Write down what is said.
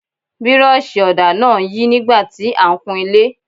Bírọ́ọ̀ṣì ọ̀dà náà ń yí nígbà tí a ń kun ilé.